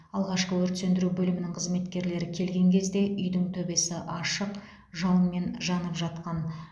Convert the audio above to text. алғашқы өрт сөндіру бөлімінің қызметкерлері келген кезде үйдің төбесі ашық жалынмен жанып жатқан